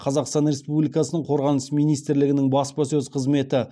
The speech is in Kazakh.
қазақстан республикасының қорғаныс министрлігінің баспасөз қызметі